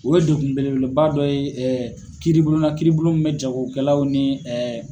O ye dekun bele beleba dɔ ye kiiribulon na kiiribulon min bɛ jagokɛlaw ni